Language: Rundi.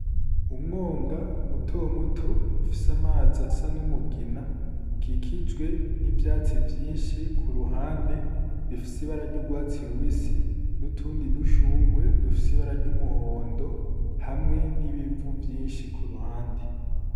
Umwonga mutomuto ufise amazi asa n'umugina, ukikijwe n'ivyatsi vyinshi ku ruhande bifise ibara n'urwatsi rubisi n'utundi dushurwe dufise ibara ry'umuhondo hamwe n'ibivu vyinshi ku ruhande.